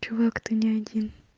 чувак ты не один